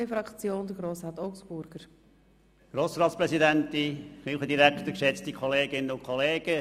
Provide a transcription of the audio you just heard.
Eigentlich wollte ich mich im Interesse der Debatte sehr kurz halten.